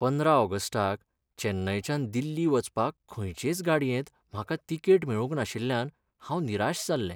पंदरा ऑगस्टाक चेन्नयच्यान दिल्ली वचपाक खंयचेच गाडयेंत म्हाका.तिकेट मेळूंक नाशिल्ल्यान हांव निराश जाल्लें.